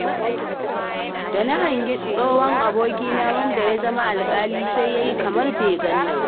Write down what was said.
Da na hangi tsohon abokina wanda ya zama alƙali, sai ya yi kamar bai ganni ba.